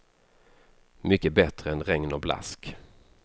Mycket bättre än regn och blask.